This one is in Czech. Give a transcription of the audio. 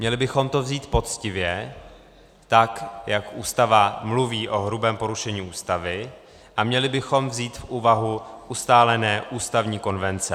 Měli bychom to vzít poctivě, tak jak Ústava mluví o hrubém porušení Ústavy, a měli bychom vzít v úvahu ustálené ústavní konvence.